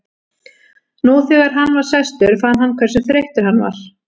Nú þegar hann var sestur fann hann hversu þreyttur hann var.